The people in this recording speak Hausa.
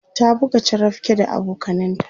ta buga charapke da abokananta